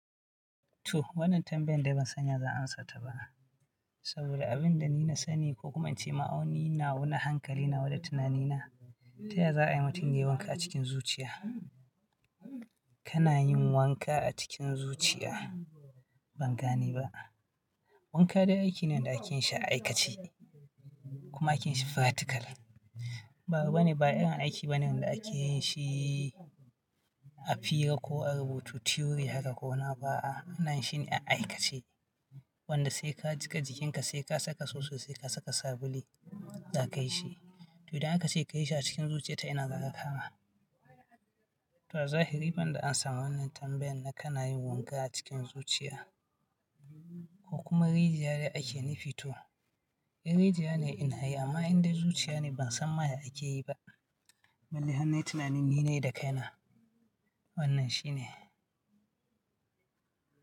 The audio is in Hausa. To wannan tambayan da ban san ya zan amsa ta ba. Saboda abin da ni na sani, ko kuma in ce ma ni, na wa na hankali nawa da tunanina, ta yaya za'a yi mutun wanka a cikin zuciya? Kana yin wanka a cikin zuciya ban gane ba. Wanka dai aiki ne da ake yin shi a aikace kuma ake yin shi fratikal. Ba, ba ne, ba irin aiki bane da ake yin shi a fira ko a rubuta theory haka ko ina ba a'a. Ana yin shi a aikace wanda sai ka jiƙa jikinka, sai ka saka soso, sai ka saka sabulu za ka yi shi. To idan aka ce ka yi shi a cikin zuciya ta ina za ka kama? To zahiri banda an samu wannan tambayan na kana yin wanka a cikin zuciya ko kuma rijiyar da ake nufi to, in rijiyar ne inayi, amma indai zuciya ne ban san ma ya ake yi ba. Balle har nayi tunanin ni nayi da kai na. Wannan shi ne.